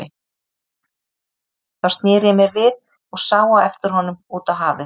Þá sneri ég mér við og sá á eftir honum út á hafið.